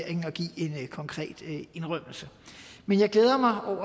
en konkret indrømmelse men jeg glæder mig over